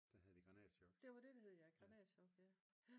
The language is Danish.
Der hed det granatchok